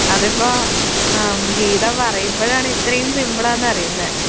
അതിപ്പോ ആ ഗീത പറയുമ്പഴാണ് ഇത്രെയും സിമ്പിൾ ആണെന്ന് അറിയുന്നെ.